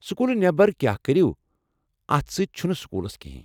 سوٚکوٗلہٕ نٮ۪بر کیٛاہ کٔرو اتھ سۭتۍ چھُنہٕ سوٚکوٗلس کِہیٖن ۔